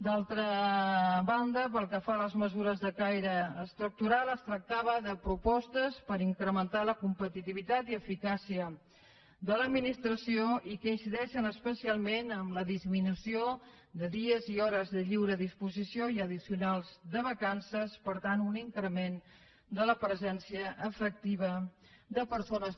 d’altra banda pel que fa a les mesures de caire estructural es tractava de propostes per incrementar la competitivitat i eficàcia de l’administració i que incideixen especialment en la disminució de dies i hores de lliure disposició i addicionals de vacances per tant un increment de la presència efectiva de persones